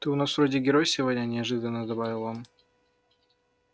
ты у нас вроде герой сегодня неожиданно добавил он